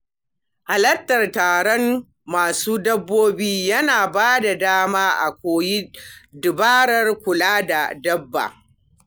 Halartar tarukan masu dabbobi yana bada dama a koyi dabarun kula da dabba.